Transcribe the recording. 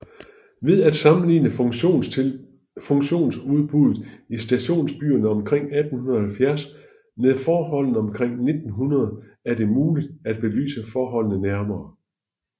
Ved at sammenligne funktionsudbuddet i stationsbyerne omkring 1870 med forholdene omkring 1900 er det muligt at belyse forholdene nærmere